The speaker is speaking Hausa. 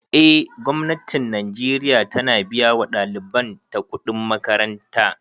Eh gwamnatin najeriya ta na biya wa ɗaliban ta kuɗin makaranta